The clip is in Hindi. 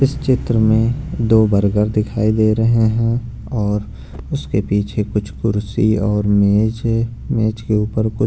इस चित्र में दो बर्गर दिखाई दे रहे हैं और उसके पीछे कुछ कुर्सी और मेज मेज के ऊपर कु --